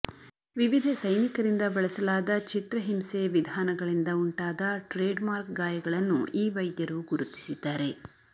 ವಿವಿಧ ಸೈನಿಕರಿಂದ ಬಳಸಲಾದ ಚಿತ್ರಹಿಂಸೆ ವಿಧಾನಗಳಿಂದ ಉಂಟಾದ ಟ್ರೇಡ್ಮಾರ್ಕ್ ಗಾಯಗಳನ್ನು ಈ ವೈದ್ಯರು ಗುರುತಿಸಿದ್ದಾರೆ